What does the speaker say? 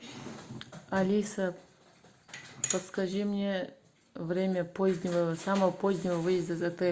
алиса подскажи мне время позднего самого позднего выезда из отеля